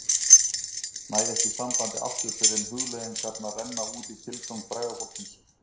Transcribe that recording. Næ ekki sambandi aftur fyrr en hugleiðingarnar renna út í tilgang fræga fólksins